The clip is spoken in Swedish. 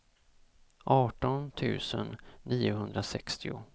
arton tusen niohundrasextio